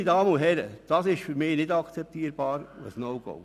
Meine Damen und Herren, das ist für mich nicht akzeptabel und ein No-Go.